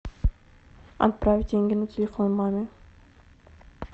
отправить деньги на телефон маме